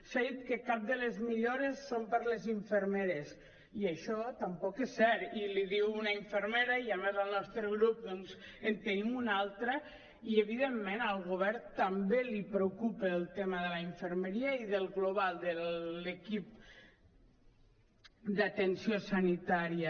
s’ha dit que cap de les millores són per a les infermeres i això tampoc és cert i l’hi diu una infermera i a més al nostre grup doncs en tenim una altra i evidentment al govern també li preocupa el tema de la infermeria i del global de l’equip d’atenció sanitària